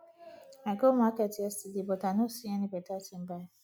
i go market yesterday but i know see any better thing buy